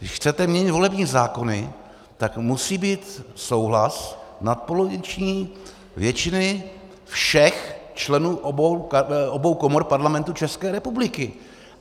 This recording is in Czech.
Když chcete měnit volební zákony, tak musí být souhlas nadpoloviční většiny všech členů obou komor Parlamentu České republiky.